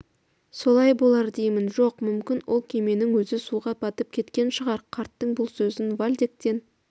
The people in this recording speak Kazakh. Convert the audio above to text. солай болар деймін жоқ мүмкін ол кеменің өзі суға батып кеткен шығар қарттың бұл сөзін вальдектен